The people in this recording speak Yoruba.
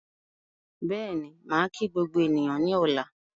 Bẹ́ẹ̀ni, màá kí gbogbo ènìyàn ní ọ̀la